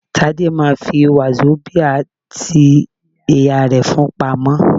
Tádé ma fi wazobia tí ìyá rẹ̀ fún-un pamọ́.